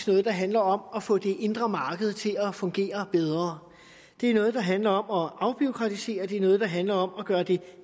noget der handler om at få det indre marked til at fungere bedre det er noget der handler om at afbureaukratisere det er noget der handler om at gøre det